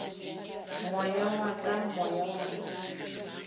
moya wa ka moya wa